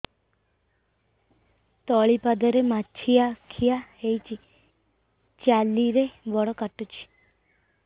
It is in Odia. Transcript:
ତଳିପାଦରେ ମାଛିଆ ଖିଆ ହେଇଚି ଚାଲିଲେ ବଡ଼ କାଟୁଚି